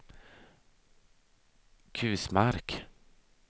Kusmark